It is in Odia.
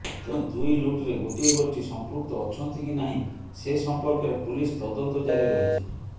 ତେଣୁ ଦୁଇ ଲୁଟ୍ରେ ଗୋଟିଏ ଗୋଷ୍ଠୀ ସମ୍ପୃକ୍ତ ଅଛନ୍ତି କି ନାହିଁ ସେ ସମ୍ପର୍କରେ ପୁଲିସ ତଦନ୍ତଜାରି ରହିଛି